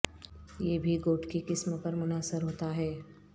یہ بھی گوٹ کی قسم پر منحصر ہوتا ہے